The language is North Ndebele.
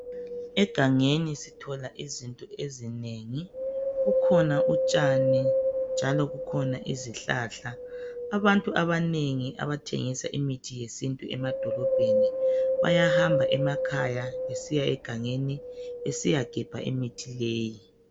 Egangeni sithola izinto ezinengi, kukhona utshani njalo kukhona izihlahla. Abantu abanengi abathengisa imithi yesintu emadolobheni bayahamba emakhaya besiya egangeni besiyagebha imithi leyi